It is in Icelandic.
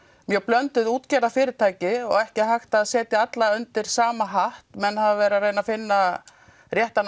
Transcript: mjög blönduð útgerðarfyrirtæki og ekki hægt að setja öll undir sama hatt menn hafa verið að reyna að finna réttan